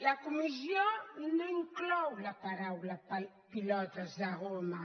la comissió no inclou les paraules pilotes de goma